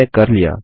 हमने कर लिया